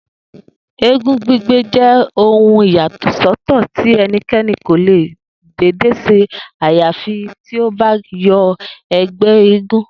Eégún gbígbé je̩ ohun ìyàsó̩tò̩ tí e̩niké̩ni kò lè dédé s̩e àyàfi tí ó bá wo̩ e̩gbé̩ eégún